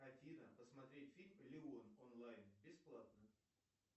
афина посмотреть фильм леон онлайн бесплатно